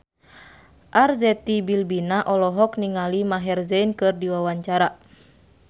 Arzetti Bilbina olohok ningali Maher Zein keur diwawancara